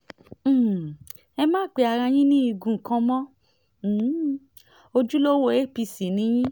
um ẹ má pe ara yín ní igun kan mọ́ o um ojúlówó apc ni yín